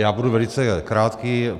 Já budu velice krátký.